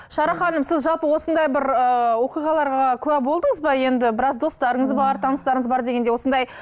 шара ханым сіз жалпы осындай бір ыыы оқиғаларға куә болдыңыз ба енді біраз достарыңыз бар таныстарыңыз бар дегендей осындай